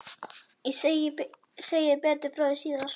Ég segi betur frá því síðar.